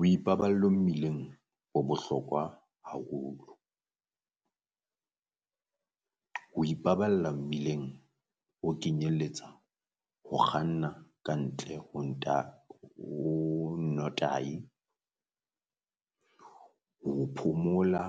O ipaballo mmileng ho bohlokwa haholo, ho ipaballa mmileng ho kenyelletsa ho kganna ka ntle ho ho notahi ho phomola